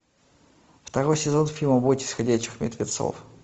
второй сезон фильма бойтесь ходячих мертвецов